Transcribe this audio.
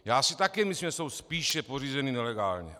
Já si také myslím, že jsou spíše pořízeny nelegálně.